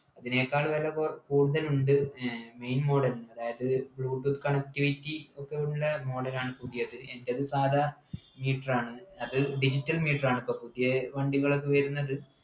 അതിനേക്കാൾ വില കുർ കൂടുതലുണ്ട് ഏർ main model ന് അതായത് bluetooth connectivity ഒക്കെയുള്ള model ലാണ് പുതിയത് എൻ്റെത് സാധാ meter ആണ് അത് digital meter ആണ് പ്പോ പുതിയെ വണ്ടികളൊക്കെ വരുന്നത്